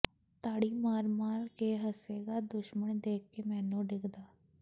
ਤਾੜੀ ਮਾਰ ਮਾਰ ਕੇ ਹੱਸੇਗਾ ਦੁਸ਼ਮਣ ਦੇਖ ਕੇ ਮੈਨੂੰ ਡਿੱਗਦਾ